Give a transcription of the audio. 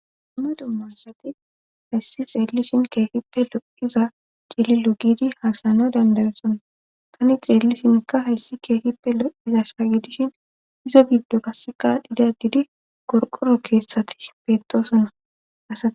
umme dummansati hayssi xeellishin keehippe lo7iza cililo gidi haasana dandayosona tani xeellishinka hayssi keehippe lo7iza shaagidishin izo biddo kasseka didadidi gorqoro keessati beetosonna asai